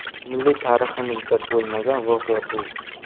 Milliy tariximizda bo‘lmagan voqea bu!